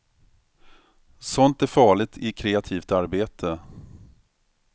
Sånt är farligt i kreativt arbete.